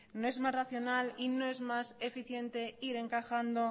no es más racional y no más eficiente ir encajando